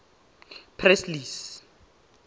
presley's